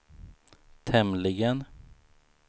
tämligen